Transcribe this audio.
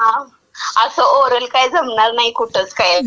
हां, असं ओरल काही जमणार नाही, आता कुठंच काय आता.